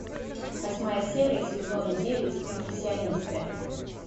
восьмая серия сезон девять импрессионисты